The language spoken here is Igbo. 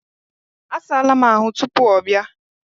A saala m ahụ tupuu ọ bịa.